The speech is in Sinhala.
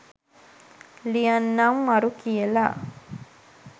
ලියන්නං මරු කියලා!